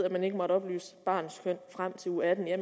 at man ikke må oplyse barnets køn frem til uge atten er